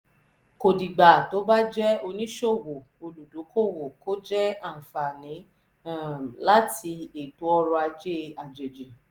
kò dìgbà tó bá jẹ́ oníṣòwò olùdókòwò kó jẹ́ àǹfààní um láti ètò ọrọ̀ ajé àjèjì.